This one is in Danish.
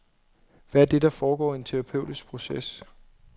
Hvad er det, der foregår i en terapeutisk proces?